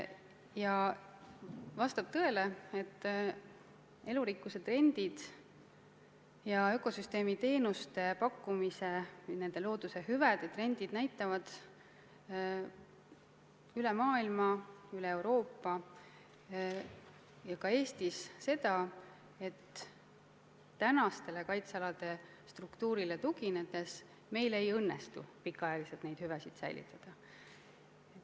Ja vastab tõele, et elurikkuse trendid ja ökosüsteemi teenuste pakkumise, loodushüvede trendid näitavad kogu maailmas, sealhulgas Euroopas ja ka Eestis seda, et praegusele kaitsealade struktuurile tuginedes meil ei õnnestu kaua neid hüvesid säilitada.